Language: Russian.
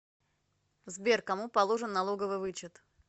сбер кому положен налоговый вычет